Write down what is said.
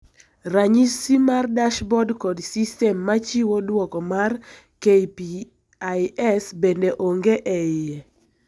Ranyisi mar dashboard kod system machiwo duoko mar KPIs bende onge eie.